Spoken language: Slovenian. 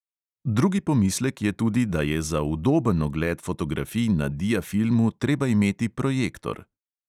Drugi pomislek je tudi, da je za udoben ogled fotografij na diafilmu treba imeti projektor.